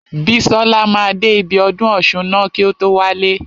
Bísọ́la máa dé ibi ọdún ọ̀ṣun ná kí o tó wálé.